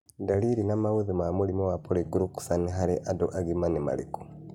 Ndariri na maũthĩ ma mũrimũ wa Polyglucosan harĩ andũ agima nĩ marĩkũ